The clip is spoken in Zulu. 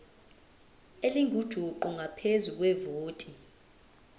elingujuqu ngaphezu kwevoti